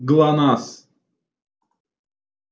глонассс